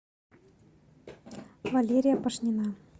валерия пашнина